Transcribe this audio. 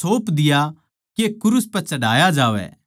सौप दिया के क्रूस पै चढ़ाया जावै